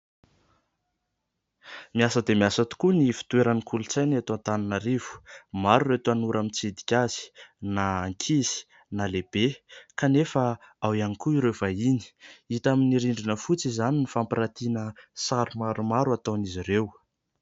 Miasa dia miasa tokoa ny ivon-toeran'ny kolontsaina eto Antananarivo. Maro ireo tanora mitsidika azy, na ankizy, na lehibe, kanefa ao ihany koa ireo vahiny. Hita amin'ny rindrina fotsy izany ny fampiratiana sary maromaro ataon'izay ireo.